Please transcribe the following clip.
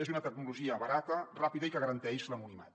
és una tecnologia barata ràpida i que garanteix l’anonimat